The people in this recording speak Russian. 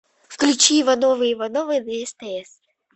включи ивановы ивановы на стс